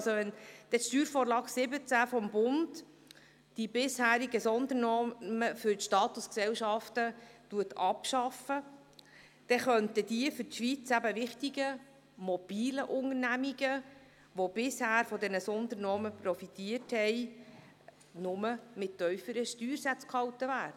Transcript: Wenn mit der SV17 des Bundes die bisherigen Sondernormen für die Statusgesellschaften abgeschafft werden, könnten die für die Schweiz wichtigen, mobilen Unternehmungen, die bisher von diesen Sondernormen profitiert haben, nur mit tieferen Steuersätzen gehalten werden.